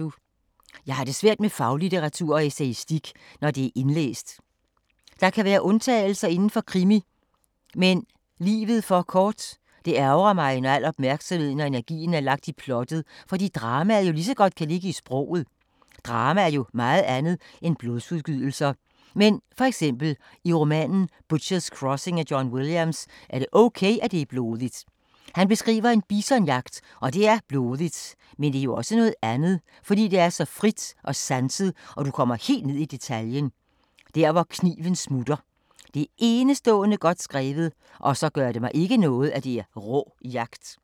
Jeg har det svært med faglitteratur og essayistik, når det er indlæst. Der kan være undtagelser inden for krimi - men livet for kort... Det ærgrer mig, når al opmærksomheden og energien er lagt i plottet, fordi dramaet lige så godt kan ligge i sproget. Drama er jo meget andet end blodsudgydelser. Men, for eksempel, i romanen Butcher’s crossing af John Williams, er det ok, at det er blodigt. Han beskriver en bisonjagt og det er blodigt, men det er også noget andet, fordi det er så fint og sanset og du kommer helt ned i detaljen - der hvor kniven smutter. Det er enestående godt skrevet og så gør det mig ikke noget, at det er rå jagt.